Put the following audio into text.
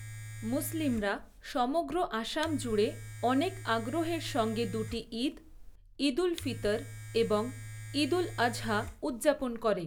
মুসলিমরা সমগ্র আসাম জুড়ে অনেক আগ্রহের সঙ্গে দুটি ঈদ ঈদ উল ফিতর এবং ঈদ উল আযহা উদযাপন করে।